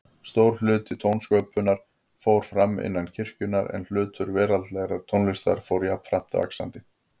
Stór hluti tónsköpunar fór fram innan kirkjunnar, en hlutur veraldlegrar tónlistar fór jafnframt vaxandi.